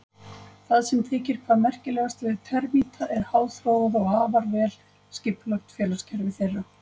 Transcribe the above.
Það sem þykir hvað merkilegast við termíta er háþróað og afar vel skipulagt félagskerfi þeirra.